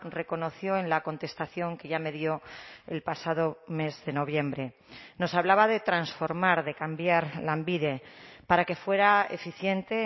reconoció en la contestación que ya me dio el pasado mes de noviembre nos hablaba de transformar de cambiar lanbide para que fuera eficiente